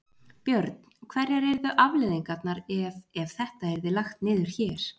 Björn: Hverjar yrðu afleiðingarnar ef, ef þetta yrði lagt niður hér?